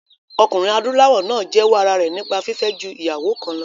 Ọkùnrin adúláwọ̀ náà jẹ́wọ́ ara rẹ̀ nípa fífẹ́ ju ìyàwó kan lọ